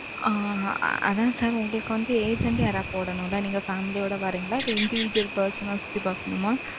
ஆ, அதான் sir உங்களுக்கு வந்து agent agent யாராவது போடணும்ல, நீங்க family யோட வர்றீங்களா? இல்ல individual person ஆ சுத்தி பார்க்கணுமா?